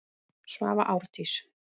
Svava Árdís.